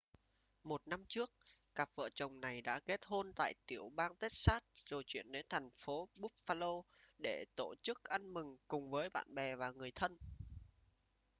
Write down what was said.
một năm trước cặp vợ chồng này đã kết hôn tại tiểu bang texas rồi chuyển đến thành phố buffalo để tổ chức ăn mừng cùng với bạn bè và người thân